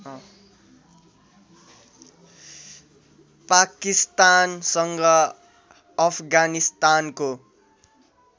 पाकिस्तानसँग अफगानिस्तानको